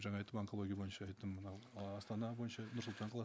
жаңа айттым онкология бойынша айттым мынау ы астана бойынша нұр сұлтан қаласы